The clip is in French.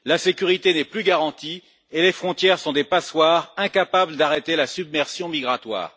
la sécurité n'est plus garantie et les frontières sont des passoires, incapables d'arrêter la submersion migratoire.